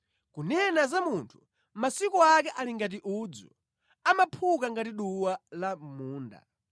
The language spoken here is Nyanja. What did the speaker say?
Kunena za munthu, masiku ake ali ngati udzu, amaphuka ngati duwa la mʼmunda;